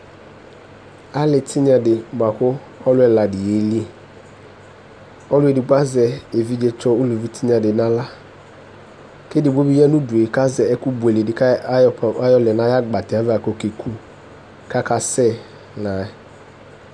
Ali tinya di bʋa kʋ alʋ ɛladi yeli ɔlʋ edigbo azɛ evidzetsɔ ʋlʋvi di nʋ aɣla kʋ edigbo bi yanʋ ʋdʋe kʋ azɛ ɛkʋ bʋeledi kʋ ayɔlɛ nʋ ayʋ agbatɛ kʋ eke kʋ kʋ akasɛ layɛ